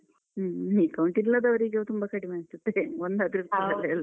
ಹ್ಮ account ಇಲ್ಲದವರೀಗ ತುಂಬ ಕಡಿಮೆ ಅನ್ಸುತ್ತೆ. ಅದಕ್ಕೆ ಒಂದಾದ್ರು.